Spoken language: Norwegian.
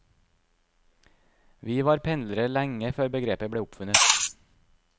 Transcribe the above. Vi var pendlere lenge før begrepet ble oppfunnet.